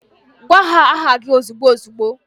Gwa ha aha gi ozigbo ozigbo